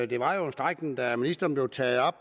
det var jo en strækning der af ministeren blev taget op